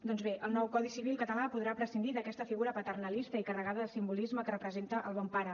doncs bé el nou codi civil català podrà prescindir d’aquesta figura paternalista i carregada de simbolisme que representa el bon pare